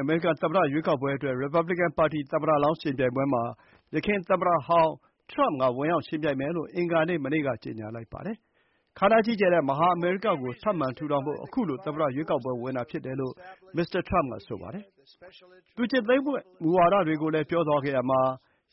အမေရိကန်သမ္မတ ရွေးကောက်ပွဲအတွက် Republican ပါတီ သမ္မတလောင်းရွေးပွဲမှာ သူဝင်ရောက်ယှဉ်ပြိုင်မယ်လို့ သမ္မတဟောင်းထရမ့်က အင်္ဂါနေ့ မနေ့က ကြေညာလိုက်ပါတယ်။ ခမ်းနားကြီးကျယ်တဲ့ မဟာအမေရိကကို ထပ်မံထူထောင်ဖို့ ခုလို သမ္မတရွေးကောက်ပွဲဝင်တာဖြစ်တယ်လို့ မစ္စတာ ထရမ့်က ဆိုပါတယ်။ သူကျင့်သုံးမယ့်မူဝါဒတွေကိုလည်း ပြောသွားခဲ့ရာမှာ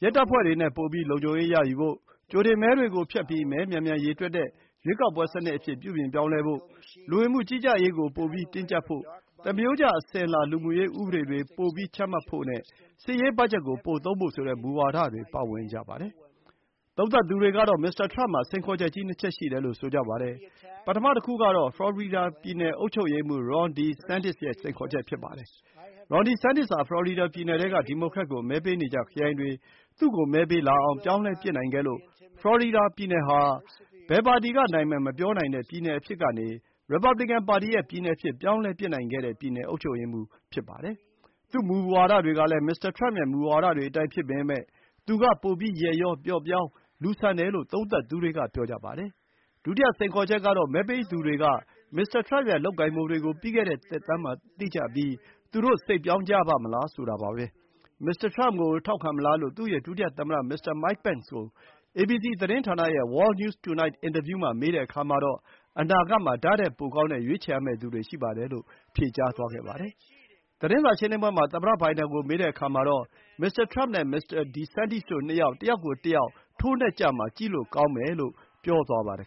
ရဲတပ်ဖွဲ့တွေနဲ့ ပိုပြီး လုံခြုံရေးရယူဖို့၊ ကြိုတင်မဲပေးစနစ်ကို ဖျက်ပြီး မဲ မြန်မြန်ရေတွက်တဲ့ ရွေးကောက်ပွဲစနစ်အဖြစ် ပြုပြင်ပြောင်းလဲဖို့၊ လူဝင်မှုကြီးကြပ်ရေးကို ပိုပြီး တင်းကျပ်ဖို့၊ သမရိုးကျ အစဉ်အလာ လူမှုရေးဥပဒေတွေ ပို ချမှတ်ဖို့ နဲ့ စစ်ရေးဘတ်ဂျက် ပိုသုံးဖို့ဆိုတဲ့ မူဝါဒတွေ ပါဝင်ကြပါတယ်။ သုံးသပ်သူတွေကတော့ မစ္စတာထရမ့်မှာ စိန်ခေါ်ချက်ကြီး ၂ ချက် ရှိတယ်လို့ ထောက်ပြနေကြပါတယ်။ ပထမတခုကတော့ သမ္မတလောင်းဝင်ရွေးဖို့ ပြင်နေပုံရတဲ့ ဖလော်ရီဒါ ပြည်နယ်အုပ်ချုပ်ရေးမှူး Ron DeSantis နဲ့ ယှဉ်ပြိုင်ရမှာဖြစ်ပါတယ်။ Ron DeSantis ဟာ ဖလော်ရီဒါ ပြည်နယ်ထဲက ဒီမိုကရက်ကို မဲပေးနေကျခရိုင်တွေ သူ့ကိုမဲပေးလာအောင် ပြောင်းလဲပစ်နိုင်ခဲ့လို့ ဖလော်ရီဒါ ပြည်နယ်ဟာ ဘယ်ပါတီက နိုင်မယ် မပြောနိုင်တဲ့ ပြည်နယ်အဖြစ်ကနေ ရီပါဘလီကန် ပါတီရဲ့ ပြည်နယ်အဖြစ် ပြောင်းလဲပစ်နိုင်ခဲ့တဲ့ ပြည်နယ်အုပ်ချုပ်ရေးမှူး ဖြစ်ပါတယ်။ သူ့ မူဝါဒတွေကလည်း မစ္စတာထရမ့် ရဲ့မူဝါဒတွေအတိုင်းဖြစ်ပေမဲ့ သူက ပိုပြီး ရက်ရော၊ ပျော့ပျောင်း လူသားဆန်တယ်လို့သုံးသပ်သူတွေက ဆိုကြပါတယ်။ ဒုတိယစိန်ခေါ်ချက်ကတော့ မဲပေးသူတွေက မစ္စတာထရမ့်ရဲ့လုပ်ကိုင်ပုံတွေကို ပြီးခဲ့တဲ့သက်တမ်းမှာသိကြပြီး ထပ်ရွေးချယ်ကြပါ့မလားဆိုတာပါပဲ။ မစ္စတာ ထရမ့်ကို ထောက်ခံမလားလို့ သူ့ရဲ့ ဒုတိယသမ္မတ မစ္စတာမိုက်ပင့်န်စ်ကို အေဘီစီ သတင်းဌာနရဲ့ World News Tonight အင်တာဗျူးမှာ မေးတဲ့အခါမှာတော့ အနာဂတ်မှာ ဒါ့ထက်ပိုကောင်းတဲ့ ရွေးရမယ့်သူတွေရှိပါတယ်လို့ ဖြေကြားသွားခဲ့ပါတယ်။ သတင်းစာရှင်းလင်းပွဲမှာ သမ္မတဘိုင်ဒန်ကိုမေးတဲ့အခါမှာတော့ မစ္စတာထရမ့်နဲ့ မစ္စတာ DeSantis တို့ နှစ်ယောက် တယောက်ကိုတယောက် ထိုးနှက်ဝေဖန်ကြမှာ ကြည့်လို့ကောင်းမယ်လို့ ပြောသွားပါတယ်